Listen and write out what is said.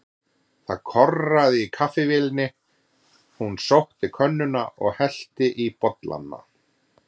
Það korraði í kaffivélinni, hún sótti könnuna og hellti í bollana.